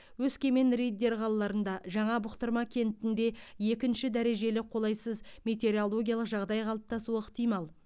өскемен риддер қалаларында жаңа бұқтырма кентінде екінші дәрежелі қолайсыз метеорологиялық жағдай қалыптасуы ықтимал